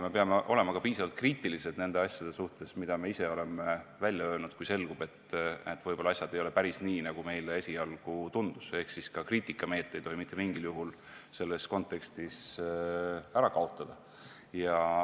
Me peame olema piisavalt kriitilised nende asjade suhtes, mida me ise oleme välja öelnud, kui selgub, et asjad võib-olla ei ole päris nii, nagu meile esialgu on tundunud, ehk ka kriitikameelt ei tohi selles kontekstis mitte mingil juhul kaotada.